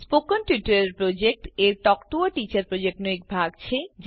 spoken tutorial project એ talk to a teacher પ્રોજેક્ટનો એક ભાગ છે